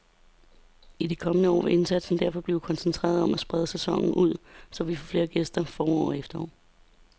I de kommende år vil indsatsen derfor blive koncentreret om at sprede sæsonen ud, så vi får flere gæster forår og efterår.